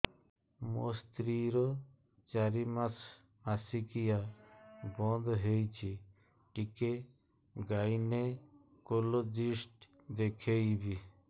ମୋ ସ୍ତ୍ରୀ ର ଚାରି ମାସ ମାସିକିଆ ବନ୍ଦ ହେଇଛି ଟିକେ ଗାଇନେକୋଲୋଜିଷ୍ଟ ଦେଖେଇବି